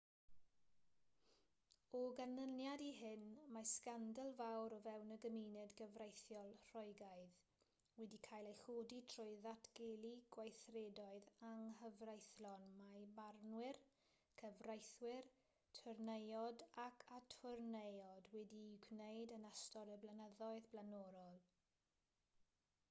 o ganlyniad i hyn mae sgandal fawr o fewn y gymuned gyfreithiol roegaidd wedi cael ei chodi trwy ddatgelu gweithredoedd anghyfreithlon mae barnwyr cyfreithwyr twrneiod ac atwrneiod wedi'u gwneud yn ystod y blynyddoedd blaenorol